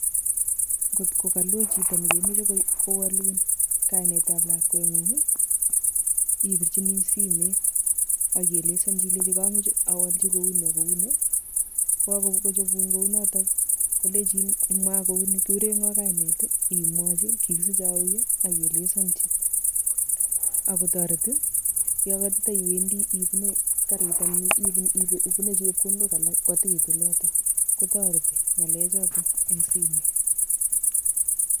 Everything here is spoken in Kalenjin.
Kotko kaloo chito nekemeche kowalun kainetab lakwengung, ipirchini simet aki ielesanchi ilenji kamache awachil kouni ak kouni, ko kakochopun kounoto, kolechini mwaa kouni, kikure ngo kainet imwachi, kikisichei auyo aki ielesanchi ak kitoret, yo katatiwendi ipune kariit anan ipune chepkondok alak kotiit oloto kotoreti ngalehoto eng simet.